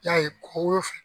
I y'a ye ko